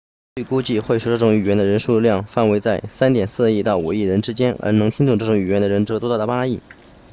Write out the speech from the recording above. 据估计会说这种语言的人数量范围在 3.4 亿到5亿之间而能听懂这种语言的人则多达8亿